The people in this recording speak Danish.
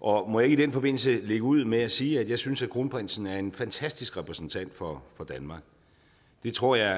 og må jeg ikke i den forbindelse lægge ud med at sige at jeg synes at kronprinsen er en fantastisk repræsentant for danmark det tror jeg